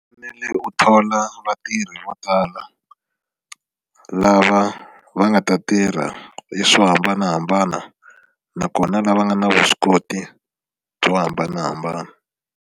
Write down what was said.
Fanele u thola vatirhi vo tala lava va nga ta tirha hi swo hambanahambana nakona lava nga na vuswikoti byo hambanahambana.